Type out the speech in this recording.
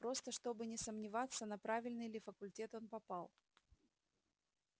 просто чтобы не сомневаться на правильный ли факультет он попал